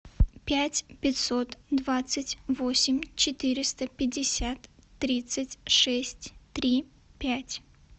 пять пятьсот двадцать восемь четыреста пятьдесят тридцать шесть три пять